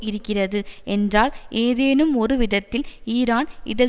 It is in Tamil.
இருக்கிறது என்றால் ஏதேனும் ஒருவிதத்தில் ஈரான் இதில்